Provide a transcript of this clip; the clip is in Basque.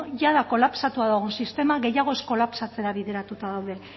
jada kolapsatua dagoen sistema gehiago ez kolapsatzera bideratuta daude